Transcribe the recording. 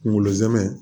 Kunkolo zɛmɛ